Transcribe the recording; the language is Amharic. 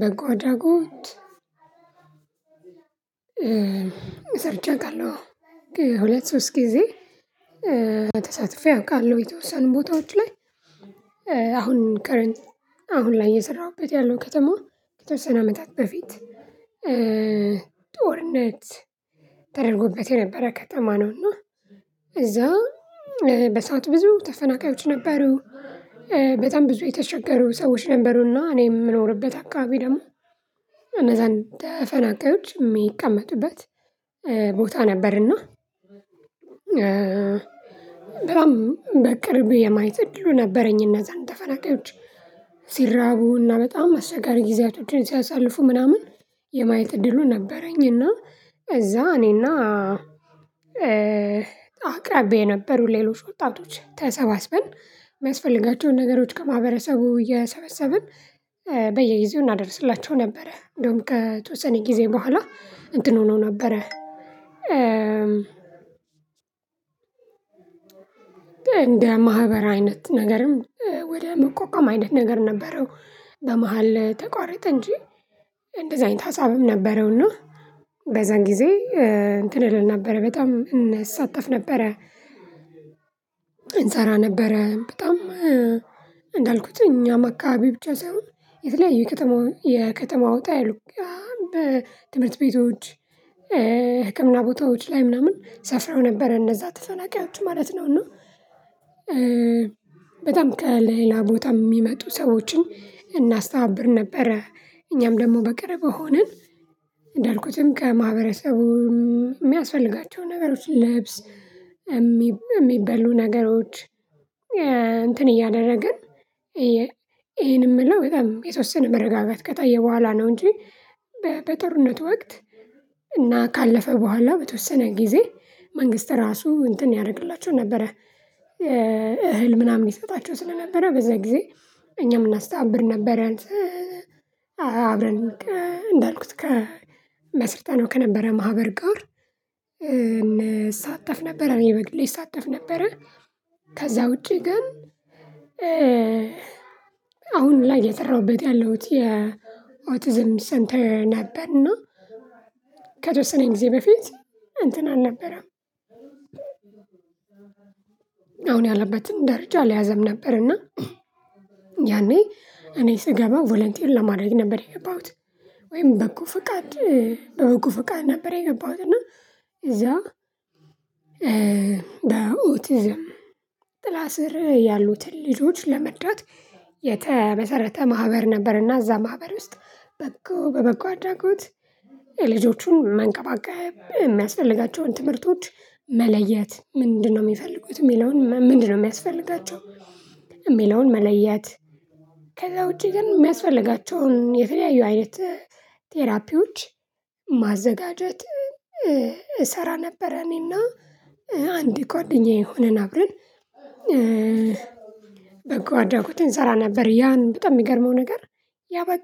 በጎ አድራጎት ሰርቸ አውቃለሁ። ሁለት ሶስት ጊዜ ተሳትፌ አውቃለሁ የተወሰኑ ቦታዎች ላይ አሁን ከረንት አሁን ላይ እየሰራሁበት ያለው ከተማው ከተወሰነ አመታት በፊት ጦርነት ተደርጎበት የነበረ ከተማ ነው። እና እዛ በሰአት ብዙ ተፈናቃዮች ነበሩ። በጣም ብዙ የተቸገሩ ሰዎች ነበሩና እኔ የምኖርበት አካባቢ ደግሞ እነዛን ተፈናቃዮች እሚቀመጥበት ቦታ ነበርና በጣም በቅርብ የማየት እድሉ ነበረኝ። እነዛን ተፈናቃዮች ሲራቡና በጣም አስቸጋሪ ጊዜያቶችን ሲያሳልፉ ምናምን የማየት እድሉ ነበረኝ። እና እዛ እኔና አቅራቢ የነበሩ ሌሎች ወጣቶች ተሰባስበን የሚያስፈልጋቸውን ነገሮች ከማህበረሰቡ እየሰበሰብን በየጊዜው እናደርስላቸው ነበረ። እንደውም ከተወሰነ ጊዜ በኋላ እንትን ሁኖ ነበረ እንደ ማህበር አይነት ነገርም ወደ መቋቋም አይነት ነገር ነበረው። በመሃል ተቋረጥ እንጂ እንደዚህ አይነት ሀሳብም ነበረው እና በዛን ጊዜ እንትን አልነበረ በጣም እንሳተፍ ነበረ። እንሰራ ነበረ በጣም እንዳልኩት እኛም አካባቢ ብቻ ሳይሆን የተለያዩ የከተማው ወጣ ያሉት በትምህርት ቤቶች ህክምና ቦታዎች ላይ ምናምን ሰፍረው ነበር። እነዛ አትፈናቃችሁ ማለት ነው። እና በጣም ከሌላ ቦታ የሚመጡ ሰዎችን እናስተባብር ነበረ እኛም ደግሞ በቅርብ ሆነን እንዳልኩትም ከማህበረሰቡ የሚያስፈልጋቸው ነገሮች ለብስ የሚበሉ ነገሮች እንትን እያደረግን ይሄን የምለው በጣም የተወሰነ መረጋጋት ከታየ በኋላ ነው። እንጂ በጦርነቱ ወቅት እና ካለፈ በኋላ በተወሰነ ጊዜ መንግስት ራሱ እንትን ያደርግላቸው ነበረ እህል ምናምን ይሰጣቸው ስለነበረ በዛ ጊዜ እኛም እናስታብር ነበረን። አብረን እንዳልኩት ከመስርተናው ከነበረ ማህበር ጋር እንሳተፍ ነበረ እኔ በግሌ እሳተፍ ነበረ። ከዛ ውጪ ግን አሁን ላይ የሰራሁበት ያለሁት የኦቲዝም ሰንተር ነበርና። ከተወሰነኝ ጊዜ በፊት እንትን አልነበረም። አሁን ያለበትን ደረጃ ሊያዘም ነበርና እና ያኔ እኔ ስገባው ቮለንቲል ለማዳግ ነበር የገባሁት ወይም በጎ ፍቃድ በበጎ ፍቃድ ነበር። የገባሁት እና እዛው በኦቲዝም ጥላ ስር ያሉትን ልጆች ለመዳት የተመሰረተ ማህበር ነበርና እዛ ማህበር ውስጥ በጎ በበጎ አድራጎት የልጆቹን መንቀባቀብ የሚያስፈልጋቸውን ትምህርቶች መለየት ምንድነው የሚፈልጉት የሚለውን ምንድነው የሚያስፈልጋቸው? መለያት ከዛ ውጪ ግን የሚያስፈልጋቸውን የተለያዩ አይነት ቴራፒዎች ማዘጋጀት እሰራ ነበር። እኔና አንድ ጓደኛዬ ሆነን አብረን በጎ አድራጎት እንሰራ ነበር። ያን በጣም የሚገርመው ነገር ያበቃ